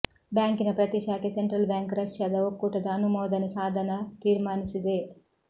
ಬ್ಯಾಂಕಿನ ಪ್ರತಿ ಶಾಖೆ ಸೆಂಟ್ರಲ್ ಬ್ಯಾಂಕ್ ರಷ್ಯಾದ ಒಕ್ಕೂಟದ ಅನುಮೋದನೆ ಸಾಧನ ತೀರ್ಮಾನಿಸಿದೆ